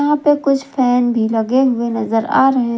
यहां पे कुछ फैन भी लगे हुए नजर आ रहे हैं।